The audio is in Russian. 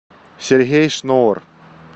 сергей шнур